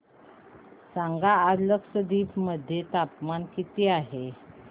सांगा आज लक्षद्वीप मध्ये तापमान किती आहे